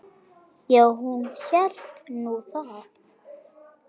Já, hún hélt nú það.